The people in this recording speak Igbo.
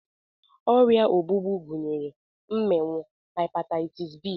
Ọrịa ogbugbu gụnyere mmịnwụ, hepataịtis b,